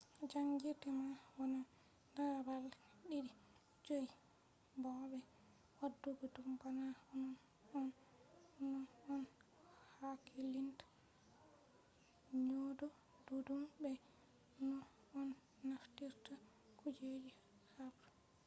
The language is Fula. jangirde man wonan daga balde 2-5 bo be wadugo dum bana onnon on no on hakkilinta nyaudo duddum be no on naftirta kujeji habre